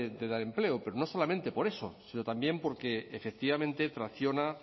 de dar empleo pero no solamente por eso sino también porque efectivamente tracciona